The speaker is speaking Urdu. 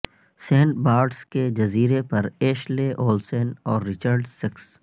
سینٹ بارٹس کے جزیرے پر ایشلے اولسن اور رچرڈ سکس